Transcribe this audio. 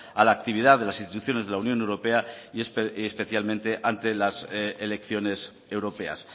a la actividad de las instituciones de la unión europea y especialmente ante las elecciones europeas